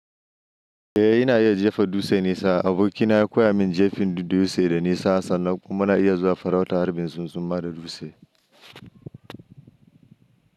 Eh ina iya jefa dutse nesa. Abokina ya koya min jefin dutse da nesa sannan kuma na iya zuwa farauta harbin zunzuma da dutse.